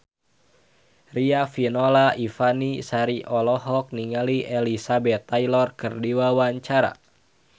Riafinola Ifani Sari olohok ningali Elizabeth Taylor keur diwawancara